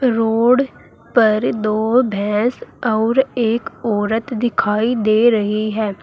Road पर दो भैंस और एक औरत दिखाई दे रही है।